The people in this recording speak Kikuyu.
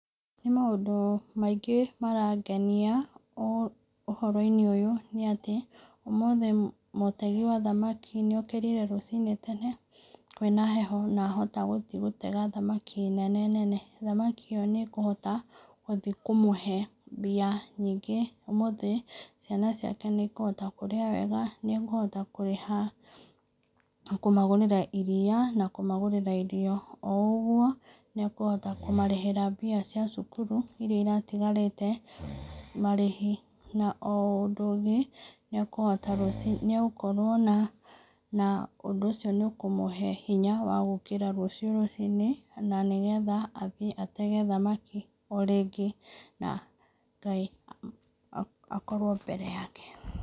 Nĩ maũndũ maingĩ marangenia ũ ũhoro-inĩ ũyũ nĩ atĩ, ũmũthĩ mũtegi wa thamaki nĩ okĩrire rũcinĩ tene kwĩna heho ahota gũtega thamaki nene nene, thamaki ĩyo nĩ ĩkũhota gũthiĩ kũmũhe mbia nyingĩ ,ũmũthĩ ciana ciake nĩ ikũhota kũrĩa wega, nĩ akũhota kũrĩha, kũmagũrĩra iria na kũmagũrĩria irio, o ũgwo nĩ akũhota kũmarĩhĩra mbia cia cukuru iria iratigarĩte marihĩ, na o ũndũ ũngĩ nĩ akũhota ruci, nĩ agũkorwo na ũndũ ũcio nĩ ũkũmũhe hinya wa gũkĩra rũciũ rũcinĩ, na nĩgetha athiĩ atege thamaki o rĩngĩ na Ngai akorwo mbere yake.